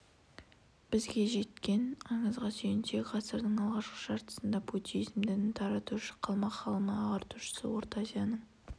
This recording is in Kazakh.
бізге жеткен аңызға сүйенсек ғасырдың алғашқы жартысында буддизм дінін таратушы қалмақ ғалымы және ағартушысы орта азияның